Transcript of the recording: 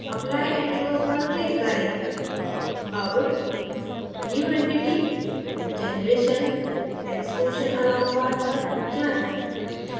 apply and close पर click करें अब new entity>> generation>> extrusion along path पर जाएँ